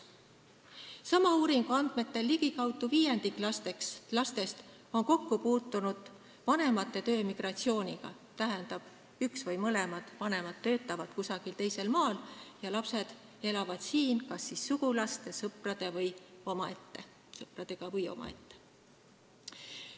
Sama uuringu andmetel on ligikaudu viiendik lastest kokku puutunud vanemate töömigratsiooniga, st üks vanem töötab või mõlemad vanemad töötavad kusagil teisel maal ja lapsed elavad siin kas sugulaste või sõpradega või omaette.